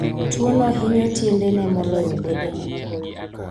Tuwono hinyo tiendene moloyo bedene.